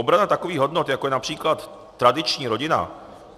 Obrana takových hodnot, jako je například tradiční rodina.